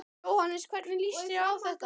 Jóhannes: Hvernig líst þér á þetta?